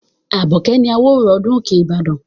Abọ̀kè ni àwòrò ọdún Òkè Ìbàdàn.